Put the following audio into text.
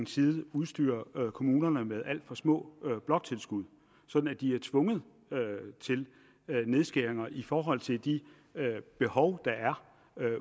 side udstyrer kommunerne med alt for små bloktilskud så de er tvunget til nedskæringer i forhold til de behov der er